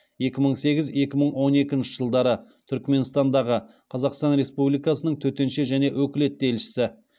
екі мың сегіз екі мың он екінші жылдары түрікменстандағы қазақстан республикасының төтенше және өкілетті елшісі